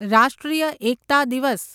રાષ્ટ્રીય એકતા દિવસ